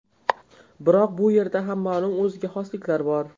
Biroq bu yerda ham ma’lum o‘ziga xosliklar bor.